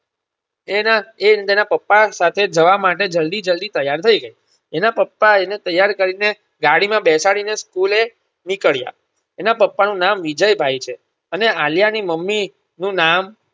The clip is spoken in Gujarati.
એના એ અને તેના પપ્પા સાથે જવા માટે જલ્દી જલ્દી ત્યાર થઈ ગઈ એના પપ્પા એને ત્યાર કરીને ગાડીમાં બેસાડીને School નીકળીયા એના પપ્પાનું નામ વિજયભાઈ છે. અને આલ્યાની મમી નું નામ